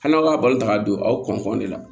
Hali n'a ba ka don aw kɔntɔn de la